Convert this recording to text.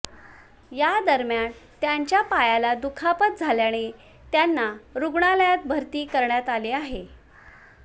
यादरम्यान त्यांच्या पायाला दुखापत झाल्याने त्यांना रुग्णालयात भरती करण्यात आले